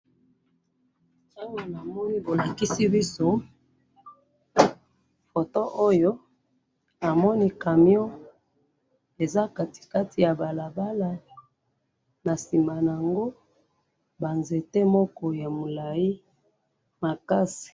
awa na moni bolakisi biso photo oyo na moni camion eza na katikati ya balabala nasimanango ba nzete moko yamulayi makasi